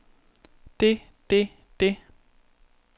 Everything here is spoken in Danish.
det det det